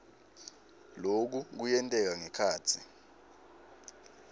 loku kuyenteka ngekhatsi